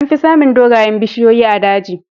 Amfi samun dogayen bishiyoyi a daji.